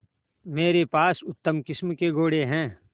मेरे पास उत्तम किस्म के घोड़े हैं